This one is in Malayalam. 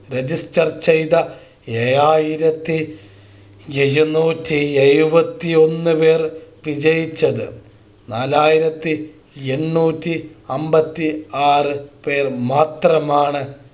Register ചെയ്ത ഏഴായിരത്തി എഴുന്നൂറ്റി എഴുപത്തി ഒന്ന് പേർ വിജയിച്ചത് നാലായിരത്തി എണ്ണൂറ്റി അമ്പത്തി ആറ് പേർ മാത്രമാണ്